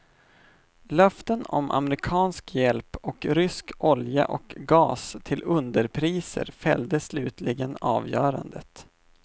Löften om amerikansk hjälp och rysk olja och gas till underpriser fällde slutligen avgörandet.